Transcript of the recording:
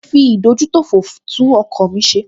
Mo fi ìdójútòfò tún ọkọ̀ mi ṣe